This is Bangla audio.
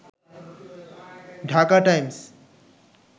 ঢাকা টাইমস